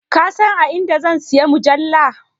Ka san a inda zan siyi mujalla?